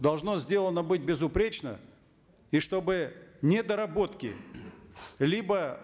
должно сделано быть безупречно и чтобы недоработки либо